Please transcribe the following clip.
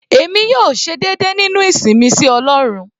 Èmi yóò ṣe déédé nínú ìsìn mi sí ọlọ́run.